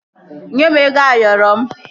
Nye m ego Ayoro m!